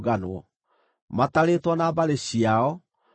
matarĩtwo na mbarĩ ciao, maarĩ andũ 2,750